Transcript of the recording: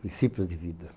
princípios de vida.